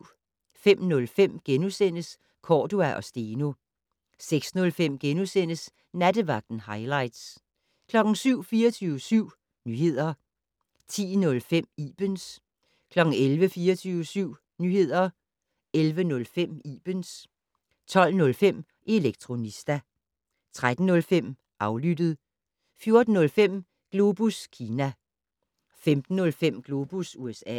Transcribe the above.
05:05: Cordua & Steno * 06:05: Nattevagten - hightlights * 07:00: 24syv Nyheder 10:05: Ibens 11:00: 24syv Nyheder 11:05: Ibens 12:05: Elektronista 13:05: Aflyttet 14:05: Globus Kina 15:05: Globus USA